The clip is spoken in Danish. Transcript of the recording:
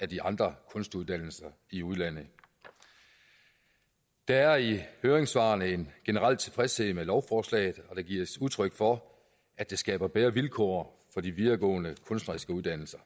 de andre kunstuddannelser i udlandet der er i høringssvarene en generel tilfredshed med lovforslaget og der gives udtryk for at det skaber bedre vilkår for de videregående kunstneriske uddannelser